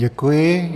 Děkuji.